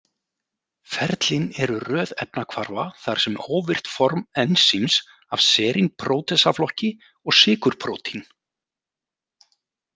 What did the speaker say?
Ferlin eru röð efnahvarfa þar sem óvirkt form ensíms af serínprótesaflokki og sykurprótín.